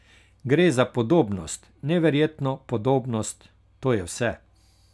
Gre za podobnost, neverjetno podobnost, to je vse.